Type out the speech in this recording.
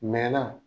Mɛ na